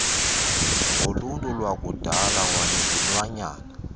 ngoluntu lwakudala kwanezilwanyana